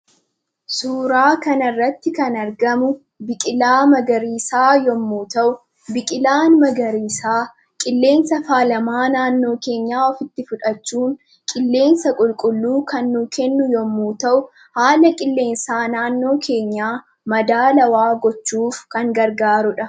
Suuraa kanarratti kan argamu bikila magariisa yemmu ta'u, biqilaan magariisa qilleensa faalama naannoo keenyaa ofitti fudhachuun, qilleensa qulqulluu kan nuf kennu yemmu ta'u, haala qilleensa naannoo keenya madaalawwa gochuuf kan gargaarudha.